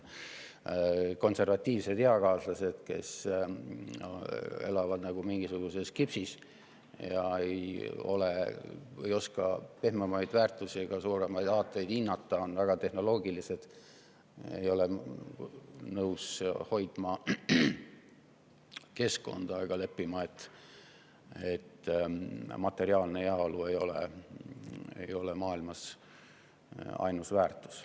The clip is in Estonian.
Konservatiivsed eakaaslased elavad nagu mingisuguses: ei oska pehmemaid väärtusi ega suuremaid aateid hinnata, on väga tehnoloogilised, ei ole nõus hoidma keskkonda ega leppima sellega, et materiaalne heaolu ei ole maailmas ainus väärtus.